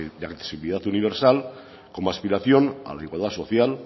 de accesibilidad universal como aspiración a la igualdad social